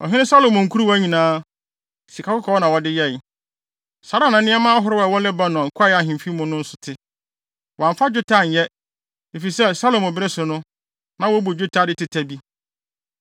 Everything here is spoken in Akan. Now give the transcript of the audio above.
Ɔhene Salomo nkuruwa nyinaa, sikakɔkɔɔ na wɔde yɛe. Saa ara na nneɛma ahorow a ɛwɔ Lebanon Kwae Ahemfi mu no nso te. Wɔamfa dwetɛ anyɛ, efisɛ Salomo bere so no, na wobu dwetɛ ade teta bi.